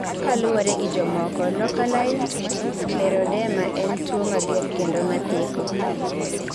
kaluwore gi jomoko, localized scleroderma en tuo mager kendo mathako